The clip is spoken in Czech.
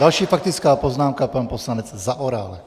Další faktická poznámka, pan poslanec Zaorálek.